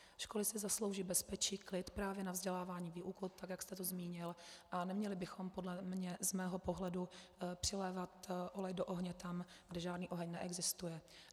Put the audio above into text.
Školy si zaslouží bezpečí, klid právě na vzdělávání, výuku, tak jak jste to zmínil, a neměli bychom podle mě z mého pohledu přilévat olej do ohně tam, kde žádný oheň neexistuje.